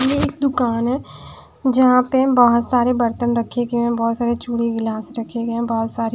दुकान है जहां पे बहुत सारे बर्तन रखे गए हैं बहुत सारे चूड़ी गिलास रखे गए हैं बहुत सारे--